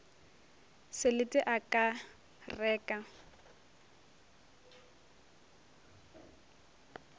selete a ka re ka